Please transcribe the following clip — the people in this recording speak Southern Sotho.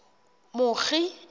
mokgi